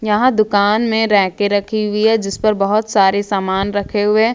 यहां दुकान में रैके कर रखी हुई है जिस पर बहुत सारे सामान रखे हुए हैं।